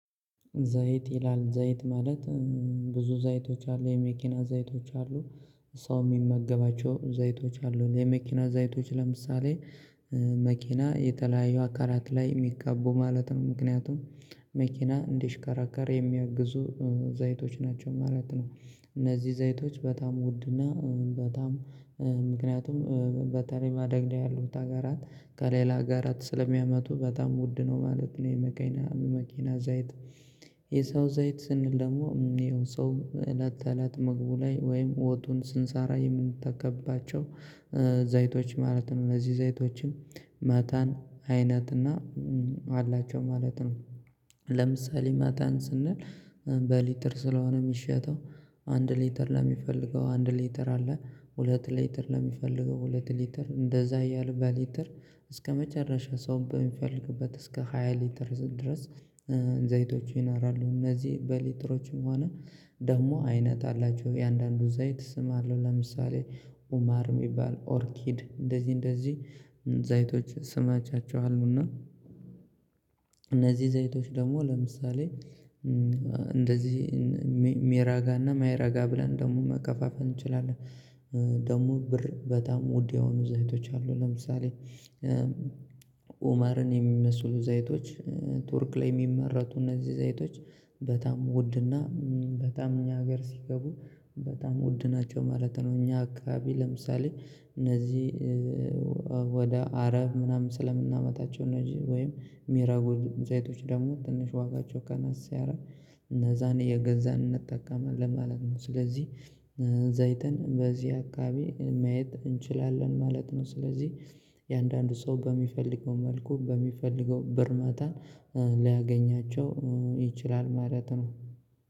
ዘይት ይላል ዘይት ማለት ብዙ ዘይቶች አሉ የመኪና ዘይቶች አሉ ሰው የሚመገባቸው ዘይቶች አሉን የመኪና ዘይቶች ለምሳሌ መኪና የተለያየ አካላት ላይ የሚቀቡ ማለት ነው። ምክንያቱም መኪና እንዲሽከራከር የሚያግዙ ዘይቶች ናቸው ማለት ነው። እነዚህ ዘይቶች በጣም ውድና በጣም ምክንያቱም በተለይ ማደግና ያለው ሀገራት ከሌላ ሀገራት ስለሚያመቱ በጣም ውድ ነው ማለት ነው የመኪና የመኪና ዘይት የሰው ዘይት ስንል ደግሞ የሰው እት አለት መግቡ ላይ ወይም ወጡን ስንሰራ የምንተከባቸው ዘይቶች ማለት ነው አነዚህ ዘይቶችም መተን አይነት እና አላቸው ማለት ነው ለምሳሌ መተን ስንል በሊትር ስለሆነ የሚሸተው አንድ ሊተር ለሚፈልገው አንድ ሊተር አለ ሁለት ሊተር ለሚፈልገው ሁለት ሊተር እንደዛ እያልን በሊተር እስከመጨረሻ ሰው በሚፈልግበት እስከ ሃያ ሊትር ድረስ ዘይቶቹ ይናራሉ እነዚህ በሊትሮችም ሆነ ደግሞ አይነት አላቸው የአንዳንዱን ዘይት ስም አለሁ ለምሳሌ ኡማር የሚባል ኦርኪድ እንደዚህ እንደዚህ ዘይቶች ስማቻቸው አሉና እነዚህ ዘይቶች ደግሞ ለምሳሌ እንደዚህ ሜራጋና ማይራጋ ብለን ደግሞ መከፋፈል እንችላለን ደግሞ ብር በጣም ውድ የሆኑ ዘይቶች አሉ ለምሳሌ ኡመርን የሚመስሉ ዘይቶች ቱርክ ላይ የሚመረቱ እነዚህ ዘይቶች በጣም ውድና በጣም እኛ ሀገር ሲገቡ በጣም ውድ ናቸው ማለት ነው። እኛ አካባቢ ለምሳሌ እነዚህ ወደ አረብ ምናምን ስለምናመታቸው ነዚህ ወይም ሚራቡ ዘይቶች ደግሞ ትንሽ ዋጋቸው ከናስ ሲያረግ እነዛን አየገዛን እንጠቀማለን ማለት ነው ስለዚህ ዘይትን በዚህ አካባቢ ማየት እንችላለን ማለት ነው። ስለዚህ የአንዳንዱ ሰው በሚፈልገው መልኩ በሚፈልገው ብር ማታን ሊያገኛቸው ይችላል ማለት ነው።